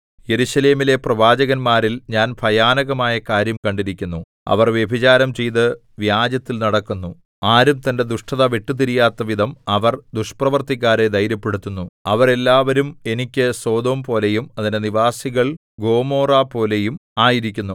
യെരൂശലേമിലെ പ്രവാചകന്മാരിൽ ഞാൻ ഭയാനകമായ കാര്യം കണ്ടിരിക്കുന്നു അവർ വ്യഭിചാരം ചെയ്ത് വ്യാജത്തിൽ നടക്കുന്നു ആരും തന്റെ ദുഷ്ടത വിട്ടുതിരിയാത്ത വിധം അവർ ദുഷ്പ്രവൃത്തിക്കാരെ ധൈര്യപ്പെടുത്തുന്നു അവരെല്ലാവരും എനിക്ക് സൊദോംപോലെയും അതിലെ നിവാസികൾ ഗൊമോറപോലെയും ആയിരിക്കുന്നു